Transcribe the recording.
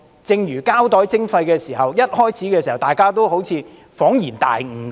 正如在實施膠袋徵費時，一開始大家也像恍然大悟般。